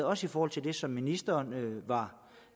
også i forhold til det som ministeren var